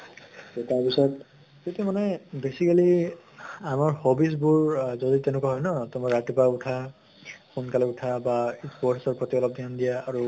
তʼ তাৰ পিছত সেইটো মানে basically আমাৰ hobbies বোৰ যদি তেনেকুৱা হয় ন তোমাৰ ৰাতিপুৱা উঠা, সোনকালে উঠা বা sports ৰ প্ৰতি অলপ ধ্য়ান দিয়া আৰু